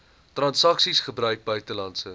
transaksies gebruik buitelandse